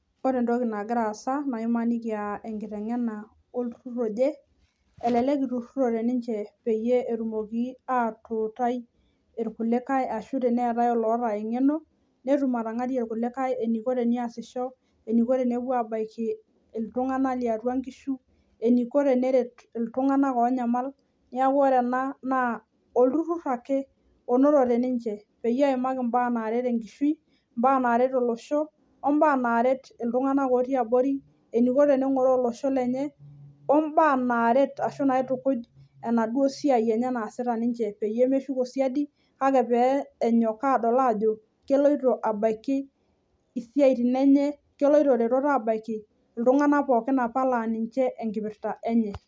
ore entoki nagira asa naa imaniki aa enking'uana olturur oje elelek itururote niche pee etumoki atuutai ikulikae ashu tene etae olota eng'eno, netum atang'arie ilkulikae eniko tenee sisho, eniko tenepuo aa baki iltung'anak liatua inkishu eniko teneret iltung'anak oonyamal, nee ore ena naa olturur ake onotote pee eimaki ibaa naaret enkishui enye onaret olosho, obaa naret eniko teneng'oroo olosho lenye obaa naret ashu inaitukuj esiai naasita pee meshuku siadi keloto aret iltung'anak laa ninye apa eyieunoto enye.